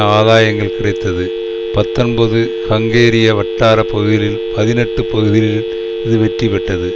ஆதாயங்கள் கிடைத்தது பத்தொன்பது ஹங்கேரிய வட்டார பகுதிகளில் பதினெட்டு பகுதிகளில் இது வெற்றி பெற்றது